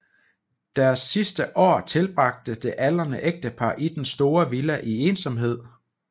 Deres sidste år tilbragte det aldrende ægtepar i den store villa i ensomhed